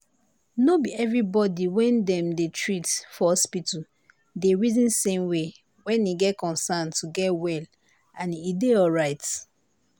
nor be everybody when dem dey treat for hospital dey reason same way when e concern to get well and e dey alright.